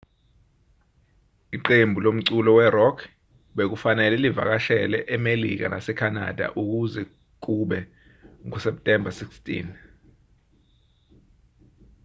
iqembu lomculo we-rock bekufanele livakashele emelika nasekhanada kuze kube nguseptemba 16